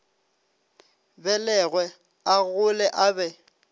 belegwe a gole a be